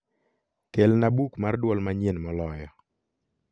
kelna buk mar duol manyien moloyo